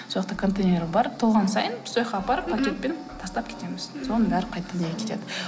сол жақта контейнер бар толған сайын сол жаққа апарып пакетпен тастап кетеміз соның бәрі қайтадан неге кетеді